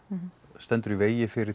stendur í vegi fyrir